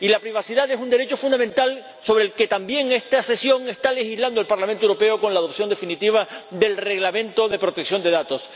Y la privacidad es un derecho fundamental sobre el que también en esta sesión está legislando el Parlamento Europeo con la aprobación definitiva del Reglamento relativo a la protección de datos.